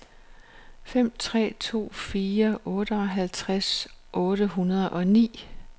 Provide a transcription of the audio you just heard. fem tre to fire otteoghalvtreds otte hundrede og ni